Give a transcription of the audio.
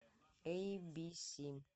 эйбиси